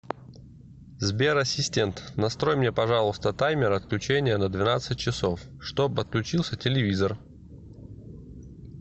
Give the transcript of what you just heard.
сбер ассистент настрой мне пожалуйста таймер отключения на двенадцать часов чтоб отключился телевизор